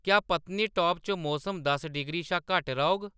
क्या पत्नीटॉप च मौसम दस डिग्री शा घट्ट रौह्‌‌‌ग